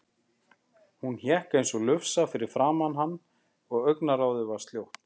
Hún hékk eins og lufsa fyrir framan hann og augnaráðið var sljótt.